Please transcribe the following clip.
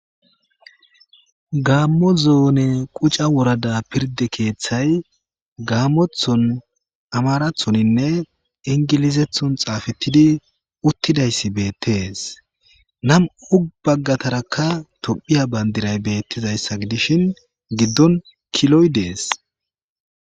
gammo zoone quca worada pirde keeththay gaammothon amarathoninne ingilizethon xaafetidi uttidayssi beettees nam7u baggatarakka tophiya bandiray beettizayssa gidishin giddon kiloy dees